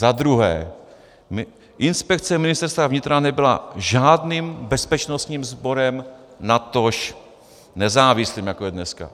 Za druhé, inspekce Ministerstva vnitra nebyla žádným bezpečnostním sborem, natož nezávislým, jako je dneska.